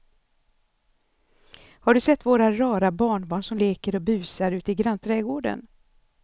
Har du sett våra rara barnbarn som leker och busar ute i grannträdgården!